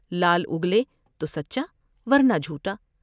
لعل اگلے تو سچا ورنہ جھوٹا ۔